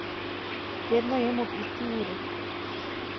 Vedno jem ob isti uri.